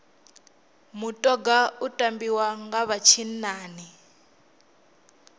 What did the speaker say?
mutoga u tambiwa nga vha tshinnani